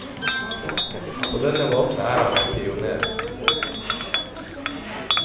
På denne måten er han en pionér.